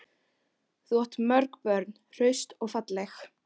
Þú átt mörg börn, hraust og falleg.